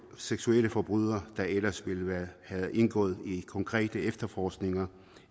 seksualforbrydere der ellers ville have indgået i konkrete efterforskninger